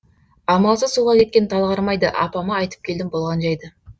амалсыз суға кеткен тал қармайды апама айтып келдім болған жайды